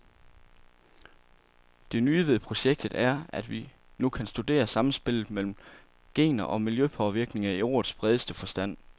Det nye ved projektet er, at vi nu kan studere samspillet mellem gener og miljøpåvirkninger i ordets bredeste forstand.